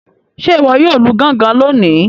Ṣe iwọ yóò Lu gangan lóni?